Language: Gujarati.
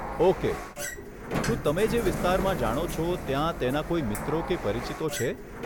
ઓકે, શું તમે જે વિસ્તારમાં જાણો છો ત્યાં તેના કોઈ મિત્રો કે પરિચિતો છે?